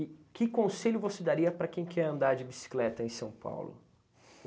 que conselho você daria para quem quer andar de bicicleta em São Paulo?